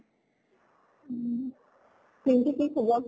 উম। পিঙ্কিৰ কি খবৰ?